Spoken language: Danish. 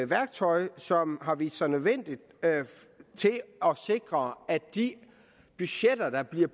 værktøj som har vist sig nødvendigt til at sikre at de budgetter der bliver